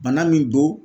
Bana min don